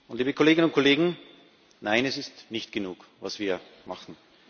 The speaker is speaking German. Liebe Kolleginnen und Kollegen Nein, es ist nicht genug, was wir machen.